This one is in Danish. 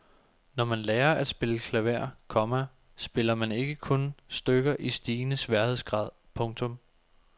Når man lærer at spille klaver, komma spiller man ikke kun stykker i stigende sværhedsgrad. punktum